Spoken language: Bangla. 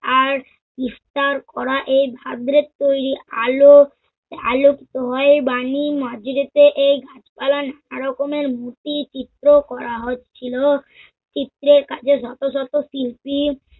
আর ইফতার করা এই ভাদ্রে তৈরি আলোক আলকিত হয় এই বানী মাঝরাতে এই গাছপালায় নানা রকমের মুর্তি চিত্র করা হচ্ছিল। চিত্রের কাছে শত-শত শিল্পী